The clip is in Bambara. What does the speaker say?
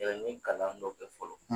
min kalan dɔ kɛ fɔlɔ